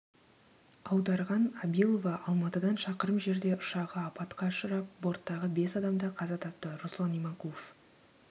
аударған абилова алматыдан шақырым жерде ұшағы апатқа ұшырап борттағы бес адам да қаза тапты руслан иманқұлов